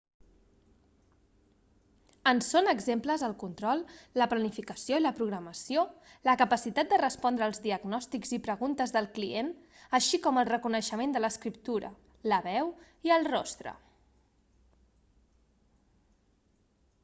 en són exemples el control la planificació i la programació la capacitat de respondre als diagnòstics i preguntes del client així com el reconeixement de l'escriptura la veu i el rostre